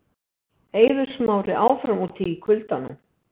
Eiður Smári áfram úti í kuldanum